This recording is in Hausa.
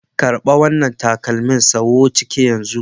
Karba wanna takalmin sawu ciki yan zunnan.